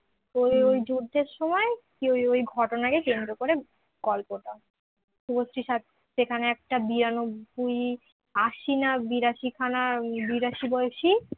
ওই ওই যুদ্ধের সময় ওই ওই ঘটনাকে কেন্দ্র করে গল্পটা শুভশ্রী সেখানে একটা বিরানব্বই আশি না বিরাশি খানা বিরাশি বয়স